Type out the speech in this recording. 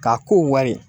K'a ko wari